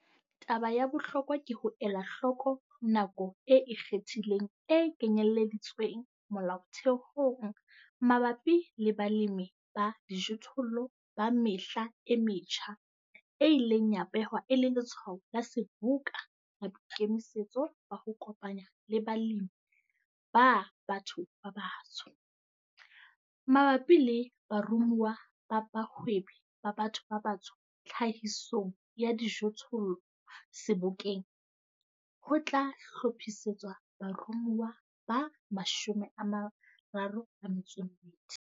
Taba ya bohlokwa ke ho ela hloko nako e ikgethileng e kenyelleditsweng molaothehong mabapi le balemi ba dijothollo ba mehla e metjha e ileng ya behwa e le letshwao la seboka la boikemisetso ba ho kopanya le balemi ba batho ba batsho. Mabapi le baromuwa ba bahwebi ba batho ba batsho tlhahisong ya dijothollo Sebokeng, ho tla hlophisetswa baromuwa ba 32.